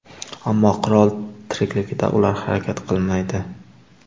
Ammo qirol tirikligida ular harakat qilmaydi.